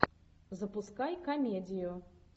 запускай комедию